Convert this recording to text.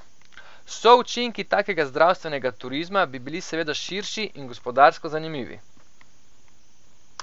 Součinki takega zdravstvenega turizma bi bili seveda širši in gospodarsko zanimivi.